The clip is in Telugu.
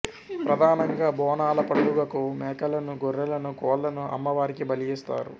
ప్రధానంగా బోనాల పండుగకు మేకలను గొర్రెలను కోళ్లను అమ్మవారికి బలి ఇస్తారు